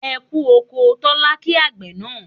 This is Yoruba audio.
E kú oko' Tólá kí àgbẹ̀ náà